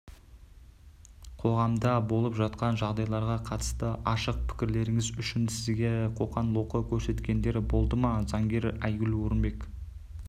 қоғамда болып жатқан жағдайларға қатысты ашық пікірлеріңіз үшін сізге қоқан-лоққы көрсеткендер болды ма заңгер айгүл орынбек